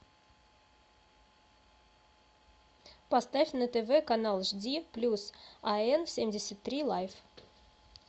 поставь на тв канал жди плюс ан семьдесят три лайф